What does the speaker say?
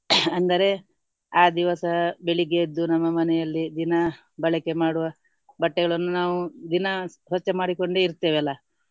ಅಂದರೆ ಆ ದಿವಸ ಬೆಳಿಗ್ಗೆ ಎದ್ದು ನಮ್ಮ ಮನೆಯಲ್ಲಿ ದಿನಾ ಬಳಕೆ ಮಾಡುವ ಬಟ್ಟೆಗಳನ್ನು ನಾವು ದಿನಾ ಸ್ವಚ್ಛ ಮಾಡಿಕೊಂಡೇ ಇರ್ತೇವೆ ಅಲ್ಲ.